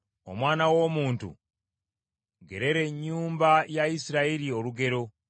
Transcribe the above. “Omwana w’omuntu, gerera ennyumba ya Isirayiri olugero;